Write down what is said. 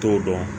T'o dɔn